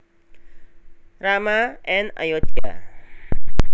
Rama and Ayodhya